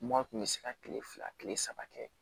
Mɔɔ kun be se ka kile fila kile saba kɛ